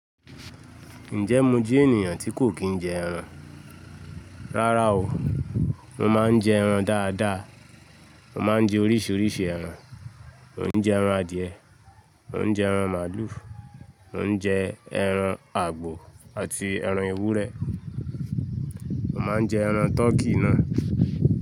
Ǹjẹ́ mo jẹ́ ènìyàn tí kò kí n jẹ ẹran? Rárá o. Mo máa ń jẹ ẹran dáadáa. Mo máa ń jẹ oríṣiríṣi ẹran. Mo n jẹ ẹran adìẹ, mo n jẹ ẹran màlúù, mo n jẹ ẹran àgbò àti ẹran ewúrẹ́. Mo máa ń jẹ ẹran tọkí náà.